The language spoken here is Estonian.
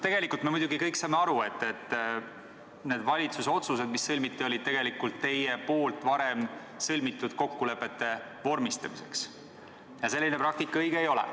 Tegelikult me kõik muidugi saame aru, et need valitsuse otsused, mis tehti, olid tegelikult teie poolt varem sõlmitud kokkulepete vormistamiseks – selline praktika õige ei ole.